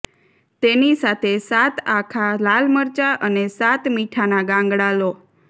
તેની સાથે સાત આખા લાલ મરચા અને સાત મીઠાના ગાંગડા લો